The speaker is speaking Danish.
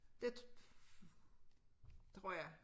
Det tror jeg